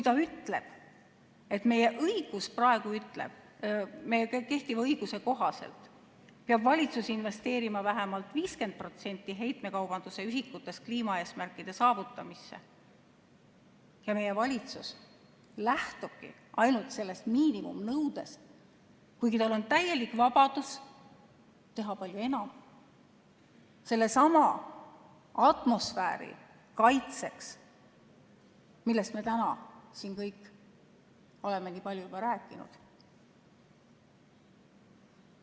Ta ütles, et meie kehtiva õiguse kohaselt peab valitsus investeerima vähemalt 50% heitmekaubanduse ühikutest kliimaeesmärkide saavutamisse, ja meie valitsus lähtubki ainult sellest miinimumnõudest, kuigi tal on täielik vabadus teha palju enam sellesama atmosfääri kaitseks, millest me täna siin kõik oleme nii palju rääkinud.